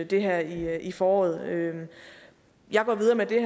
det her i foråret jeg går videre med det